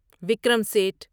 Vikram Seth